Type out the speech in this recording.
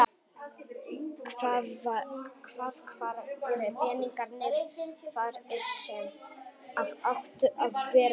Hvað, hvar eru peningarnir þar sem að áttu að vera í það?